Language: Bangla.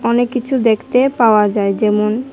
অনেক কিছু দেখতে পাওয়া যায় যেমন--